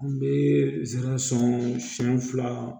An bɛ zɛrɛn sɔn siɲɛ fila